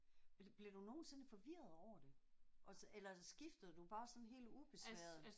Bliver du nogensinde forvirret over det og så eller skifter du bare sådan helt ubesværet?